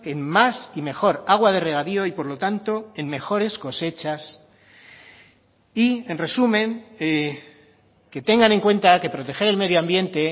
en más y mejor agua de regadío y por lo tanto en mejores cosechas y en resumen que tengan en cuenta que proteger el medio ambiente